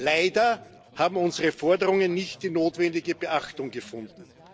Leider haben unsere Forderungen nicht die notwendige Beachtung gefunden.